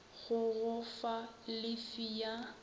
go go fa llifi ya